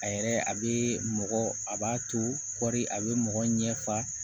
A yɛrɛ a bɛ mɔgɔ a b'a to kɔɔri a bɛ mɔgɔ ɲɛ fa